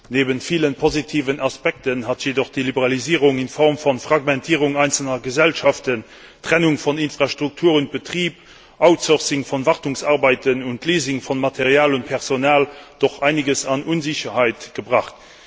Neben vielen positiven Aspekten hat jedoch die Liberalisierung in Form von Fragmentierung einzelner Gesellschaften, Trennung von Infrastruktur und Betrieb, Outsourcing von Wartungsarbeiten und Leasing von Material und Personal doch einiges an Unsicherheit gebracht.